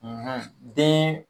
den